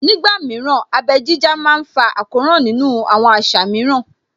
Ní ìgbà mìíràn, abẹ́ jíjá má ń fa àkóràn nínú àwọn àṣà mìíràn